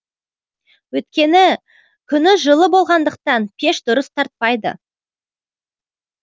өйткені күні жылы болғандықтан пеш дұрыс тартпайды